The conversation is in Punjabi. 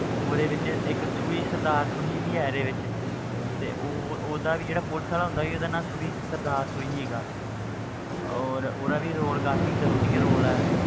ਉਹਦੇ ਵਿੱਚ ਇੱਕ ਸੂਹੀ ਸਰਦਾਰ ਸੂਹੀ ਵੀ ਹੈ ਇਹਦੇ ਵਿੱਚ ਤੇ ਉਹ ਉਹਦਾ ਵੀ ਜਿਹੜਾ ਪੁਲਿਸ ਵਾਲਾ ਹੁੰਦਾ ਸੀ ਉਹਦਾ ਨਾਂ ਸੂਹੀ ਸਰਦਾਰ ਸੂਹੀ ਸੀਗਾ ਔਰ ਉਹਦਾ ਵੀ role ਕਾਫ਼ੀ interesting role ਹੈ